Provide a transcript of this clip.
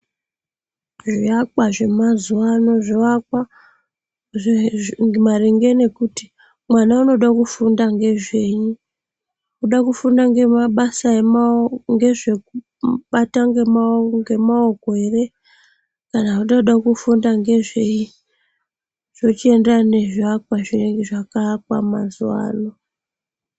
Zvivakwa zvemazuva ano zvovakwa maringe nekuti mwana unode kufunda ngezvenyi. Kudakufunda ngemabasa emao ngezvekubata ngemaoko ere, kana kuti vanoda kufunda ngezvei zvochienderana ngezvivakwa zvinenge zvakawakwa mazuva ano.